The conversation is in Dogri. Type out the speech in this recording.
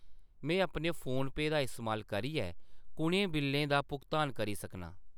में अपने फोनपेऽ दा इस्तेमाल करियै कुʼनें बिल्लें दा भुगतान करी सकनां ?